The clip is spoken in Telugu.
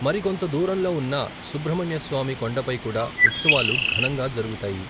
మరి కొంత దూరంలో ఉన్న సుబ్రహ్మణ్య స్వామి కొండపై కూడా ఉత్సవాలు ఘనంగా జరుగుతాయి.